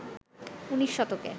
উনিশ শতকে